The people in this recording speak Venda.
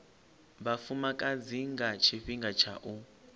vhafumakadzi nga tshifhinga tsha u